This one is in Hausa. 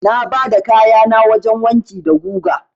Na bada kayana wajen wanki da guga.